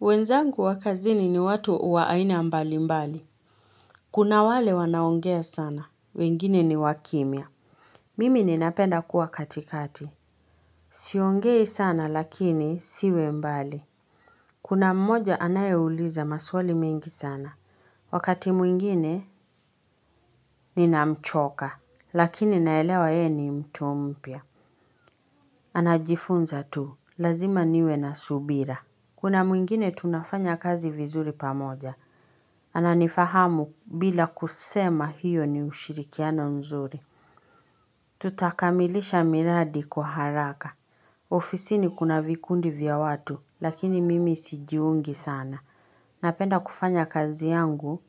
Wenzangu wa kazini ni watu wa aina mbalimbali. Kuna wale wanaongea sana, wengine ni wakimia. Mimi nina penda kuwa katikati. Siongei sana lakini siwe mbali. Kuna mmoja anayeuliza maswali mingi sana. Wakati mwingine, ninamchoka. Lakini naelewa yeye ni mtu mpya. Anajifunza tu, lazima niwe na subira. Kuna mwingine tunafanya kazi vizuri pamoja. Ana nifahamu bila kusema hiyo ni ushirikiano mzuri. Tutakamilisha miradi kwa haraka. Ofisini kuna vikundi vya watu, lakini mimi sijiungi sana. Napenda kufanya kazi yangu